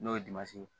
N'o ye ye